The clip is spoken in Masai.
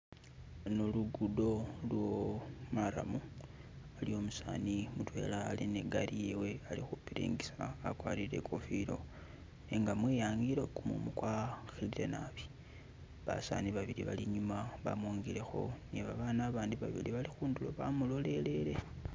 Luno lugudo lo marram haliwo umusani mudwela ali ni gaali yewe ali khupiringisa agwarile ikofila nenga mwiyangilo gumumu gwa khilile naabi basani babili bali inyuma bamongelekho ni babana bandi babili bali khuduro bamulolelele